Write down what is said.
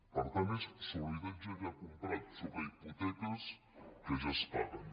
per tant és sobre habitatge ja comprat sobre hipoteques que ja es paguen